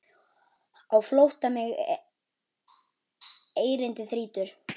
Á flótta mig erindi þrýtur.